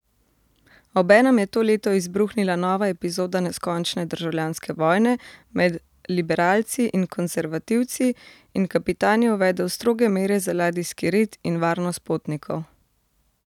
Obenem je to leto izbruhnila nova epizoda neskončne državljanske vojne med liberalci in konservativci in kapitan je uvedel stroge mere za ladijski red in varnost potnikov.